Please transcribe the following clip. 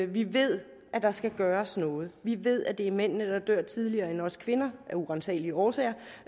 vi ved at der skal gøres noget vi ved at det er mændene der dør tidligere end os kvinder af uransagelige årsager